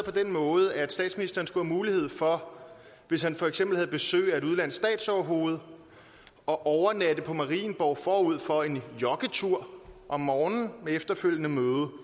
på den måde at statsministeren skulle have mulighed for hvis han for eksempel havde besøg af et udenlandsk statsoverhoved at overnatte på marienborg forud for en joggetur om morgenen med efterfølgende møde